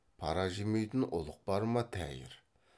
пара жемейтін ұлық бар ма тәйір